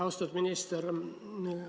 Austatud minister!